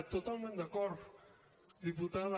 totalment d’acord diputada